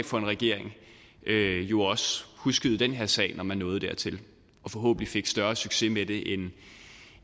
for en regering jo også huskede den her sag når man nåede dertil og forhåbentlig fik større succes med det